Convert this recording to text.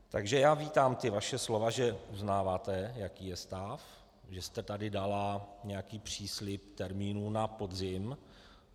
Takže já vítám ta vaše slova, že uznáváte, jaký je stav, že jste tady dala nějaký příslib termínu na podzim.